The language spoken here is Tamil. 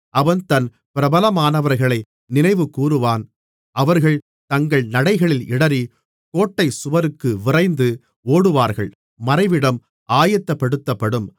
அவன் தன் பிரபலமானவர்களை நினைவுகூருவான் அவர்கள் தங்கள் நடைகளில் இடறி கோட்டை சுவருக்கு விரைந்து ஓடுவார்கள் மறைவிடம் ஆயத்தப்படுத்தப்படும்